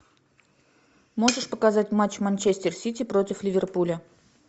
можешь показать матч манчестер сити против ливерпуля